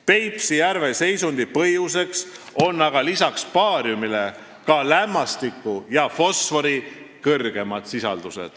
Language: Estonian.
Peipsi järve halva seisundi põhjuseks on aga lisaks baariumile ka lämmastiku ja fosfori suurem sisaldus.